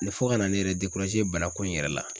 fo ka na ne yɛrɛ bana ko in yɛrɛ la.